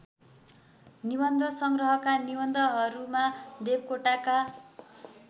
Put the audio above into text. निबन्धसङ्ग्रहका निबन्धहरूमा देवकोटाका